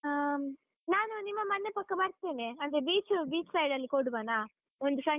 ಹಾಂ ನಾನು ನಿಮ್ಮ ಮನೆ ಪಕ್ಕ ಬರ್ತೇನೆ, ಅಂದ್ರೆ beach, beach side ಅಲ್ಲಿ ಕೊಡುವನಾ? ಒಂದು.